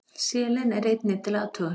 Selen er einnig til athugunar.